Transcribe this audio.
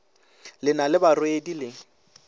le na le barwedi le